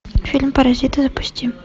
фильм паразиты запусти